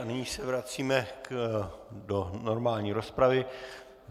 A nyní se vracíme do normální rozpravy.